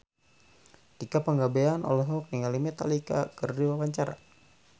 Tika Pangabean olohok ningali Metallica keur diwawancara